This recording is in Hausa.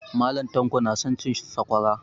Mallam tanko na son cin sakwara